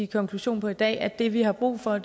konklusion i dag at det vi har brug for er